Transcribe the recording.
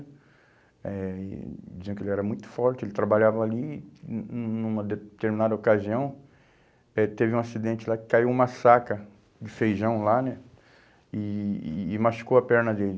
Eh e diziam que ele era muito forte, ele trabalhava ali e num numa determinada ocasião eh teve um acidente lá que caiu uma saca de feijão lá né e e e machucou a perna dele.